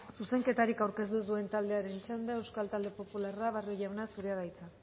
zuzenketarik aurkeztu ez duen taldearen txanda euskal talde popularra barrio jauna zurea da hitza